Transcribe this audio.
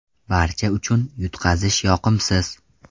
Barcha uchun yutqazish yoqimsiz.